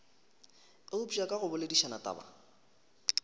eupša ka go boledišana taba